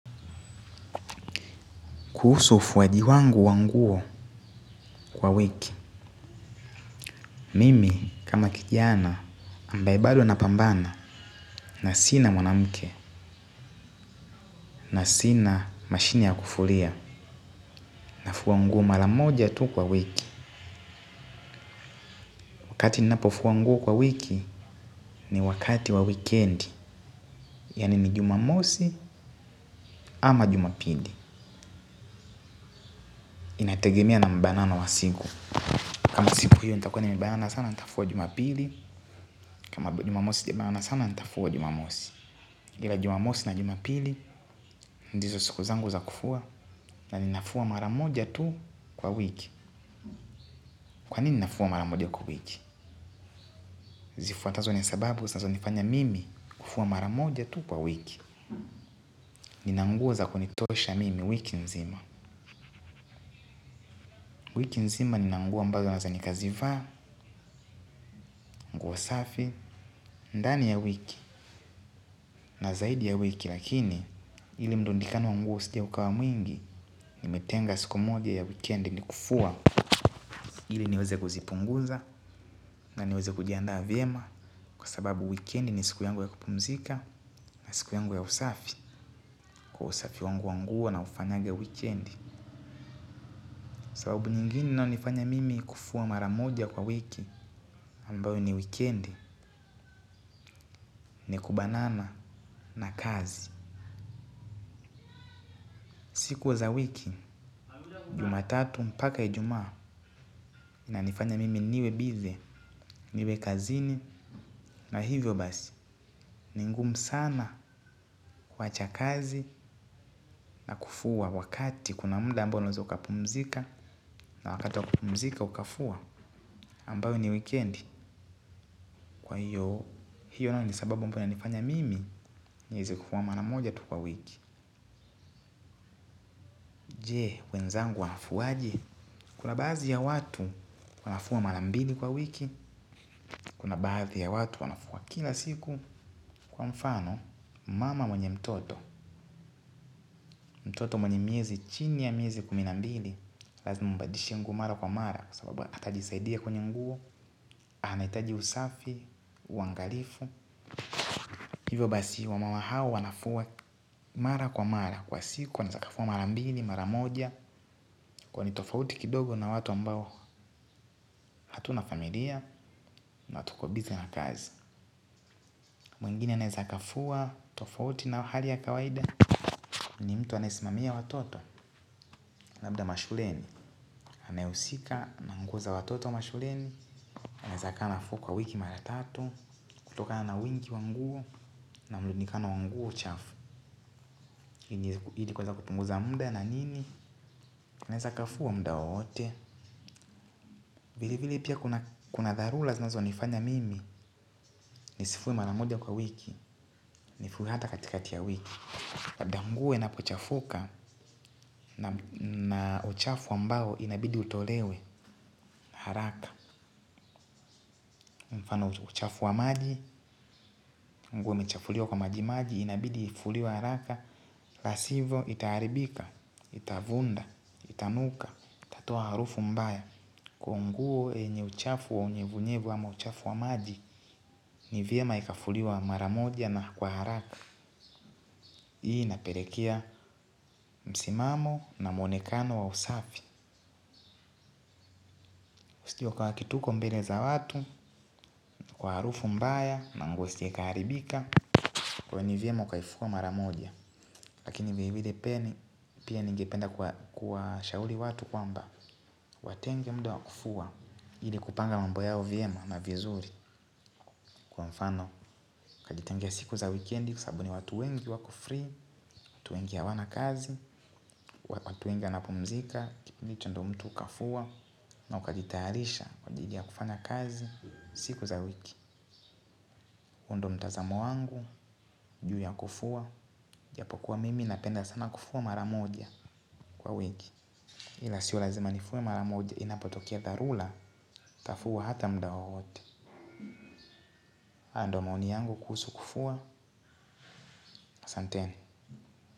Kuhusu ufuwaji wangu wa nguo kwa wiki mimi kama kijana ambaye bado anapambana na sina mwanamke na sina mashine ya kufulia nafua nguo mara moja tu kwa wiki. Wakati ninapo fua nguo kwa wiki ni wakati wa wikendi. Yaani ni jumamosi ama jumapili inategemea na mbanano wa siku. Kama siku hiyo nitakuwa nimebayana sana nitafua jumapili. Kama jumamosi jibana sana nitafua jumamosi. Ila jumamosi na jumapili ndizo siku zangu za kufua. Na ninafua mara moja tu kwa wiki. Kwa nini ninafua mara moja kwa wiki. Zifuatazo ni sababu zinazo nifanya mimi kufua mara moja tu kwa wiki. Nina nguo za kunitosha mimi wiki nzima. Wiki nzima nina nguo ambazo hata nikazivaa nguo safi. Ndani ya wiki na zaidi ya wiki lakini ile mlundikano wa nguo usije ukawa mwingi. Nimetenga siku moja ya wikendi ni kufua. Ili niweze kuzipunguza. Na niweze kujianda vyema. Kwa sababu wikendi ni siku yangu ya kupumzika. Na siku yangu ya usafi kwa usafi wangu wangu wa nguo naufanyaga wikendi. Kwa sababu nyingine inayo nifanya mimi kufua mara moja kwa wiki ambayo ni wikendi. Ni kubanana na kazi. Siku za wiki Jumatatu mpaka ijuma nanifanya mimi niwe busy. Niwe kazini. Na hivyo basi. Ni ngumu sana kuwacha kazi. Na kufua wakati kuna muda ambao unaeza ukapumzika na wakati wa kupumzika ukafua ambayo ni wikendi. Kwa hiyo naona ni sababu ambayo hunifanya mimi nieze kufua mara moja tu kwa wiki. Je, wenzangu wanafuaje? Kuna baadhi ya watu wanafua mara mbili kwa wiki kuna baadhi ya watu wanafua kila siku kwa mfano mama mwenye mtoto mtoto mwenye miezi chini ya miezi kumi na mbili lazima umbadishie nguo mara kwa mara kwa sababu atajisaidia kwenye nguo anahitaji usafi, uangalifu, hivyo basi wamama hawa wanafua mara kwa mara. Kwa siku wanaeza wakafua mara mbini, mara moja. Kuwa ni tofauti kidogo na watu ambao hatuna familia. Na tuo busy na kazi. Mwingine anayeweza akafua tofauti na hali ya kawaida ni mtu anayesimamia watoto. Labda mashuleni anayeusika, na nguo za watoto mashuleni anaeza akafua kwa wiki mara tatu kutoka na wingi wa nguo na mrundikano wa nguo chafu. Ili kueza kupunguza muda na nini anaeza akafua muda wowote. Vile vile pia kuna dharura zinazonifanya mimi nisifue mara moja kwa wiki nifue hata katikati ya wiki. Labda nguo inapochafuka na uchafu ambao inabidi utolewe haraka. Mfano uchafu wa maji nguo imechafuliwa kwa maji maji inabidi uifuliwe haraka. La sivo itaharibika, itavunda, itanuka, itatoa harufu mbaya. Kwa nguo yenye uchafu wa unyevunyevu ama uchafu wa maji. Ni vyema ikafuliwa mara moja na kwa haraka. Hii inapelekea msimamo na mwonekano wa usafi. Usije uka act huko mbele za watu kwa harufu mbaya na nguo isije ikaharibika. Kwa hivo ni vyema ukaifua mara moja. Lakini vile vile pia ningependa kuwashauri watu kwamba watenge muda wa kufua. Ili kupanga mambo yao vyema na vizuri. Kwa mfano ukajitengee siku za wikendi. Kwa sababu ni watu wengi wako free, watu wengi hawana kazi. Watu wengi wanapumzika. Kipindi hicho ndo mtu ukafua. Na ukajitaarisha kwa ajili ya kufanya kazi. Siku za wiki huu ndo mtazamo wangu juu ya kufua ijapokuwa mimi napenda sana kufua mara moja kwa wiki. Ila sio lazima nifue mara moja inapotokea dharura. Nitafua hata mda wowote. Haya ndo mauni yangu kuhusu kufua. Asanteni.